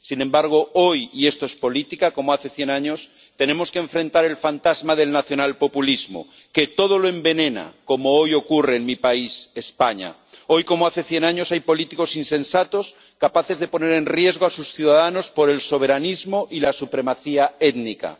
Sin embargo, hoy —y esto es política como hace cien años—, tenemos que enfrentar el fantasma del nacionalpopulismo, que todo lo envenena, como hoy ocurre en mi país, España. Hoy, como hace cien años, hay políticos insensatos capaces de poner en riesgo a sus ciudadanos por el soberanismo y la supremacía étnica.